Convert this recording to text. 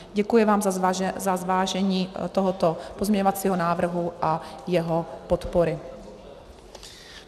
Děkuji vám za zvážení tohoto pozměňovacího návrhu a jeho podpory.